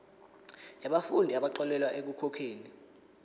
yabafundi abaxolelwa ekukhokheni